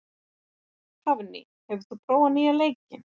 Hafný, hefur þú prófað nýja leikinn?